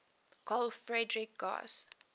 carl friedrich gauss